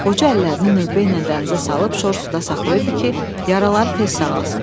Qoca əllərini növbəylə dənizə salıb şor suda saxlayırdı ki, yaraları tez sağalsın.